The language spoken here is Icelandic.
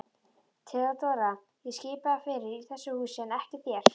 THEODÓRA: Ég skipa fyrir í þessu húsi en ekki þér.